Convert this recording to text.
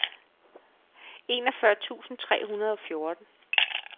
enogfyrre tusind tre hundrede og fjorten